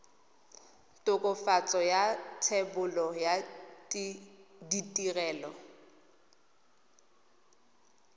tokafatso ya thebolo ya ditirelo